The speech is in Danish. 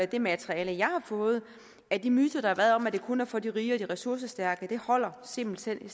det materiale jeg har fået at de myter der har været om at det kun er for de rige og de ressourcestærke simpelt hen